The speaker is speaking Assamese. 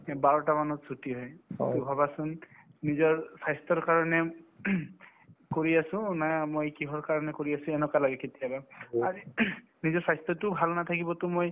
বাৰটা মানত ছুটী হয় to ভাবাচোন নিজৰ স্ৱাস্থ্যৰ কাৰণে কৰি আছো না মই কিহৰ কাৰণে কৰি আছো এনেকুৱা লাগে কেতিয়াবা ‌‌ আজি নিজৰ স্ৱাস্থ্যতো ভাল নাথাকিব to মই